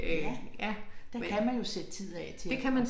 Ja der kan man jo sætte tid af til at